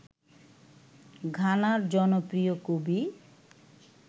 ঘানার জনপ্রিয় কবি